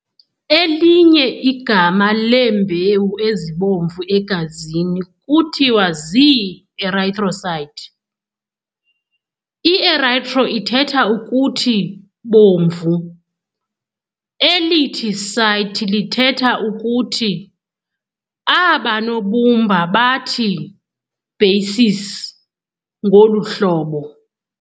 Elinye igama leembewu ezibomvu egazini kuthiwa zii-erythrocyte. 'i-Erythro' ithetha ukuthi bomvu, elithi cyte lithetha ukuthi ]. Aba nobumba bathi ] basis] ngolu hlobo ]]].